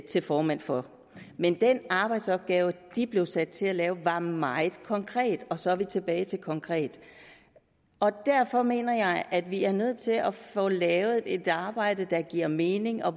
til formand for den men den arbejdsopgave de blev sat til at lave var meget konkret og så er vi tilbage til konkret derfor mener jeg at vi er nødt til at få lavet et arbejde der giver mening og